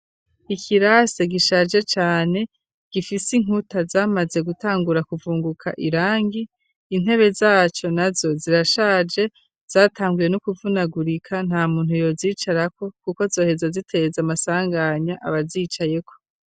Ikirase gishaje cane gifise inkuta zamaze gutangura kuvunguka irangi intebe zaco na zo zirashaje zatangwye no kuvunagurika nta muntu yozicarako kuko zoheza ziteza amasanganya abazicayeko.